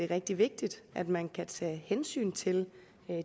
rigtig vigtigt at man kan tage hensyn til